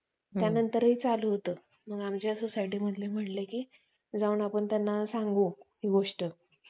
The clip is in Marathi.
की, हे जे सणवार आहेत, ह्याच्यामागे काहीतरी वैज्ञानिक शास्त्रीय कारण आहे.